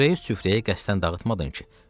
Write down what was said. Xörəyi süfrəyə qəsdən dağıtmadın ki?